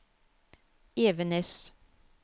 Evenes